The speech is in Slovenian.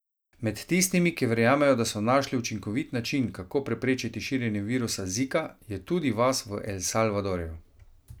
Med tistimi, ki verjamejo, da so našli učinkovit način, kako preprečiti širjenje virusa Zika, je tudi vas v El Salvadorju.